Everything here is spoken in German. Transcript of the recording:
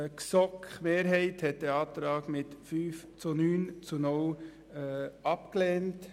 Die GSoK-Mehrheit hat diesen Antrag mit 5 zu 9 Stimmen bei 0 Enthaltungen abgelehnt.